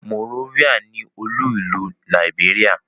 Monrovia ni olú-ìlú Liberia.